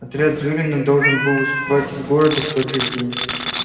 отряд зурина должен был выступать из города в тот же день